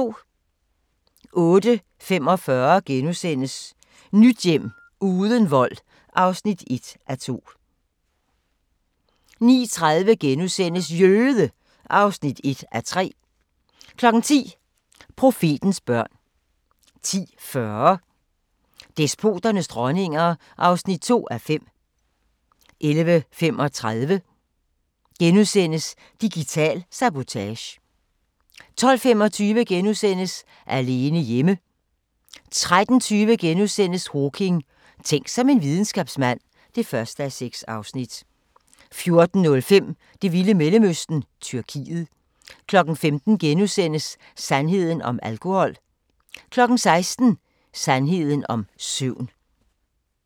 08:45: Nyt hjem – uden vold (1:2)* 09:30: Jøde! (1:3)* 10:00: Profetens børn 10:40: Despoternes dronninger (2:5) 11:35: Digital sabotage * 12:25: Alene hjemme * 13:20: Hawking: Tænk som en videnskabsmand (1:6)* 14:05: Det vilde Mellemøsten -Tyrkiet 15:00: Sandheden om alkohol * 16:00: Sandheden om søvn